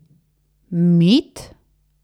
Mit?